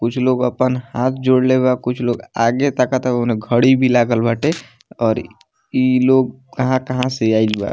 कुछ लोग अपन हाथ जोडले बा कुछ लोग आगे ताकता ओने घड़ी भी लागल बाटे और इ लोग कहाँ-कहाँ से आइल बा।